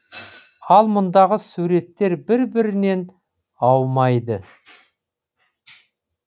ал мұндағы суреттер бір бірінен аумайды